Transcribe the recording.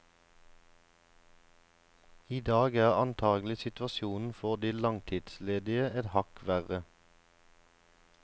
I dag er antagelig situasjonen for de langtidsledige et hakk verre.